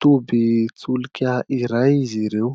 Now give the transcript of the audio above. tobin-tsolika iray izy ireo.